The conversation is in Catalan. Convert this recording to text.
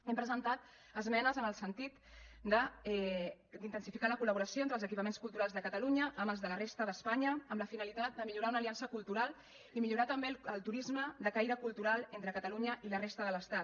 hem presentat esmenes en el sentit d’intensificar la collaboració entre els equipaments culturals de catalunya amb els de la resta d’espanya amb la finalitat de millorar una aliança cultural i millorar també el turisme de caire cultural entre catalunya i la resta de l’estat